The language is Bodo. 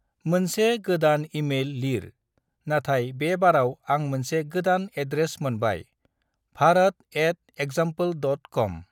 मोनसे गोदान इमेइल लिर नाथाय बे बाराव आं मोनसे गोदान एड्रेस मोनबाय भारात एट एक्जाम्पोल डट कम।